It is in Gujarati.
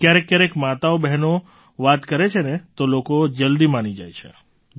ક્યારેક ક્યારેક માતાઓબહેનો વાત કરે છે ને તો લોકો જલદી માની જાય છે